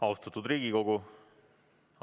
Austatud Riigikogu!